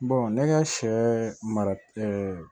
ne ka sɛ mara